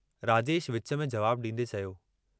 राजेश विच में जवाबु डींदे चयो।